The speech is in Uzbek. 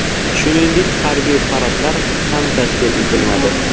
Shuningdek, harbiy paradlar ham tashkil etilmadi.